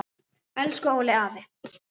Elsku Óli afi.